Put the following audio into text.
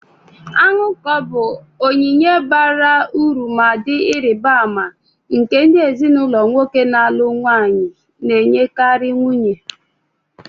Anuko bụ onyinye bara uru ma dị ịrịba ama, nke ndị ezinụlọ nwoke na-alụ nwanyi na-enyekarị nwunye.